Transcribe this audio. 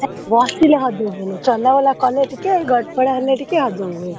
ହେ! ବସିଲେ ହଜମ ହୁଏନି, ଚଲାବୁଲା କଲେ ଟିକେ ଗଡପଡ ହେଲେ ଟିକେ ହଜମ ହୁଏ।